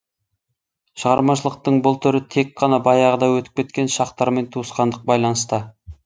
шығармашылықтың бұл түрі тек қана баяғыда өтіп кеткен шақтармен туысқандық байланыста